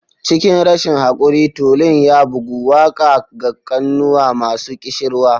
Cikin rashin haquri, tulun ya bugu, waƙa ga kunnuwa masu ƙishirwa.